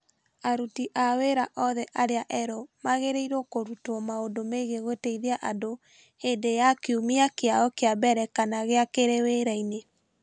Aruti a wĩra othe arĩa erũ magĩrĩirũo kũrutwo maũndũ megiĩ gũteithia andũ hĩndĩ ya kiumia kĩao kĩa mbere kana gĩa kerĩ wĩra-inĩ.